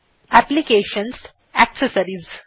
application gt accessories